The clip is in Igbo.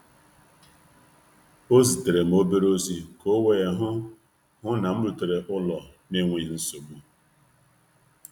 O zitere m ozi dị mpempe naanụ i ji hụ na m ruru ụlọ nke ọma